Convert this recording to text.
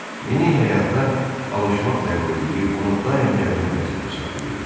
Yeni həyata alışmaq zəruriliyi onu daim gərgin vəziyyətdə saxlayırdı.